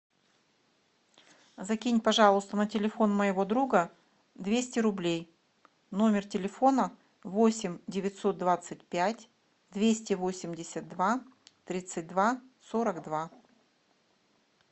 закинь пожалуйста на телефон моего друга двести рублей номер телефона восемь девятьсот двадцать пять двести восемьдесят два тридцать два сорок два